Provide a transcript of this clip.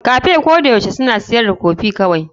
Cafes koyaushe suna siyar da kofi kawai.